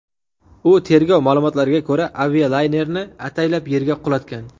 U, tergov ma’lumotlariga ko‘ra, avialaynerni ataylab yerga qulatgan.